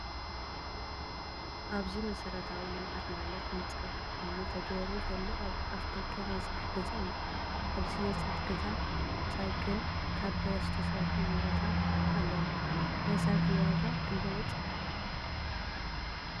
ኣብዚ መሰረታዊ ልምዓት ማለት ምፃፍ እምኒ ተገይሩሉ ዘሎ ኣብ ኣፍደገ ናይ ስራሕ ገዛ እዩ። ኣብዚ ናይ ስራሕ ገዛ ሳይልን ካብ ብረት ዝተሰርሑ ንረታት ኣለው። ናይ ሳይክል ዋጋ ክንዳይ በፂሑ ?